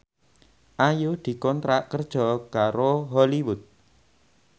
Ayu dikontrak kerja karo Hollywood